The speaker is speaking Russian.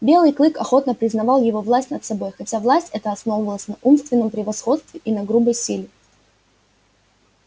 белый клык охотно признавал его власть над собой хотя власть эта основывалась на умственном превосходстве и на грубой силе